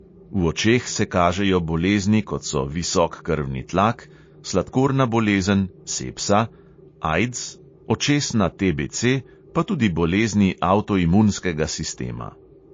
V očeh se kažejo bolezni, kot so visok krvni tlak, sladkorna bolezen, sepsa, aids, očesna TBC, pa tudi bolezni avtoimunskega sistema.